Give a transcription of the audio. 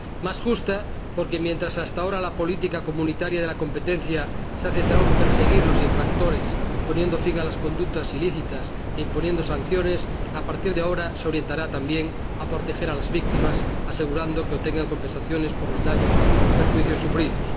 Más justa, porque, mientras hasta ahora la política de la competencia de la Unión se ha centrado en perseguir a los infractores poniendo fin a las conductas ilícitas e imponiendo sanciones, a partir de ahora se orientará también a proteger a las víctimas asegurando que obtengan compensaciones por los daños y perjuicios sufridos.